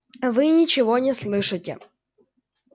вы ничего не слышите